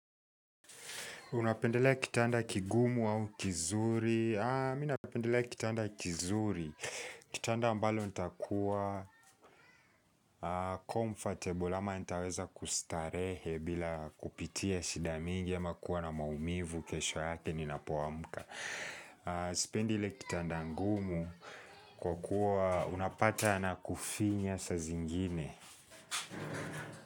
Unapendelea kitanda kigumu au kizuri? Mimi napendelea kitanda kizuri. Kitanda ambalo nitakuwa ''comfortable'' ama nitaweza kustarehe bila kupitia shida mingi ama kuwa na maumivu, kesho yake ninapoamuka. Sipendi ile kitanda ngumu kwa kuwa unapata kinakufinya saa zingine.